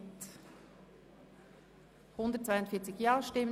Migration und Personenstand Verzicht und Kürzungen (Massnahme 46.5.1):